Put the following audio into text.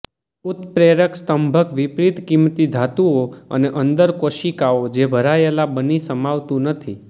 ઉત્પ્રેરક સ્તંભક વિપરીત કિંમતી ધાતુઓ અને અંદર કોશિકાઓ જે ભરાયેલા બની સમાવતું નથી